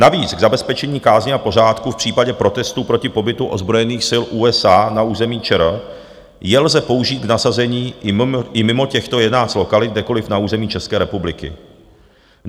Navíc k zabezpečení kázně a pořádku v případě protestů proti pobytu ozbrojených sil USA na území ČR je lze použít k nasazení i mimo těchto 11 lokalit kdekoliv na území České republiky.